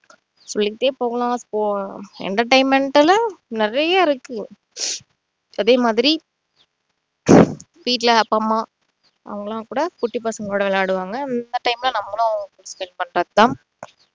சொல்லிட்டே போகலாம் இப்போ entertainment ல நிறைய இருக்கு அதேமாதிரி வீட்டுல அப்பா அம்மா அவங்களாம் கூட குட்டி பசங்க கூட விளையாடுவாங்க அந்த time ல நம்மலாம்